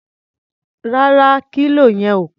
Rárá, kílò yẹn ò pé.